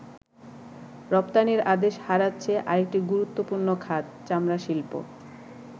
রপ্তানির আদেশ হারাচ্ছে আরেকটি গুরুত্বপূর্ণ খাত, চামড়া শিল্প।